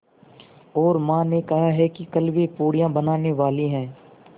और माँ ने कहा है कि कल वे पूड़ियाँ बनाने वाली हैं